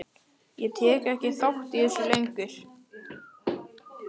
Ég tek ekki þátt í þessu lengur.